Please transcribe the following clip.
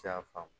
Tiy'a faamu